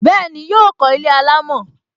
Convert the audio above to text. Bẹẹni, yọ kó ilé alámò